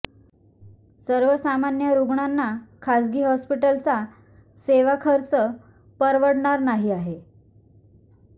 सर्वसामान्य रुग्णांना खाजगी हॉस्पिटलचा सेवाखर्च परवडणारा नाही आहे